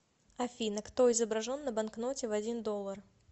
афина кто изображен на банкноте в один доллар